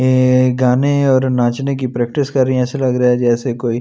ए गाने और नाचने की प्रैक्टिस कर रही हैं ऐसा लग रहा है जैसे कोई--